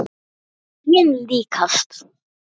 Lyginni líkast.